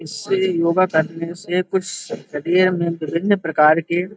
इससे योगा करने से कुछ शरीर में विभिन्न प्रकार के --